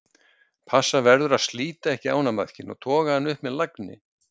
Passa verður vel að slíta ekki ánamaðkinn og toga hann upp með lagni.